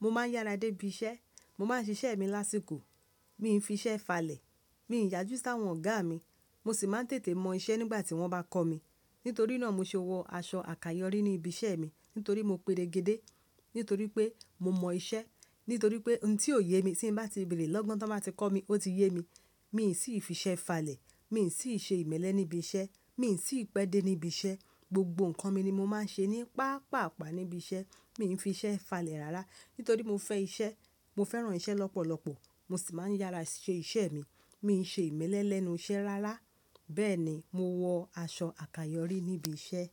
Mo má ń yára dé ibi iṣẹ́. Mo má ń ṣiṣẹ́ mi lásìkò. Mi ń fi iṣẹ́ falẹ̀. Mi ń yájú sí àwọn ọ̀gá mi. Mo sì má ń tètè mọ iṣẹ́ nígbà tí wọ́n bá kọ́ mi. Nítorí náà mo ṣe wọ aṣọ àkàyọ́rí ní ibi iṣẹ́ mi nítorí mo pedegede. Nítorí pé mo mọ iṣẹ́. Nítorí pé ohun tí ò yé mi tí bá ti béèrè lọ́gán tí wọ́n bá ti kọ́ mi, ó ti yé mi. Mi n sí fi iṣẹ́ falẹ̀. Mi n sí ṣe ìmẹ́lẹ́ ní ibi iṣẹ́. Mi n sí pẹ́ dé nibi iṣẹ́. Gbogbo nǹkan mi ni mo máa ń ṣe ní paapaa paa níbi iṣẹ́. Mi ò ń fi iṣẹ́ falẹ̀ rárá. Nítorí mo fẹ́ iṣẹ́. Mo fẹ́ran iṣẹ́ lọ́pọ̀lọpọ̀. Mo sì má ń yára ṣe iṣẹ́ mi. Mi ò ń ṣe ìmẹ́lẹ́ lẹ́nu iṣẹ́ rárá. Bẹ́ẹ̀ni, mo wọ aṣọ àkàyọ́rí níbi iṣẹ́.